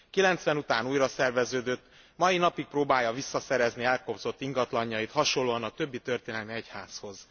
'90 után újraszerveződött, mai napig próbálja visszaszerezni elkobzott ingatlanjait, hasonlóan a többi történelmi egyházhoz.